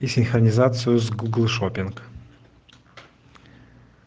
синхронизацию с гугл шопинг